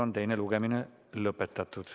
Teine lugemine on lõpetatud.